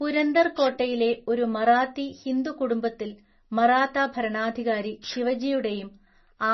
പുരന്ദർ കോട്ടയിലെ ഒരു മറാത്തി ഹിന്ദുകുടുംബത്തിൽ മറാത്താഭരണാധികാരി ശിവജിയുടെയും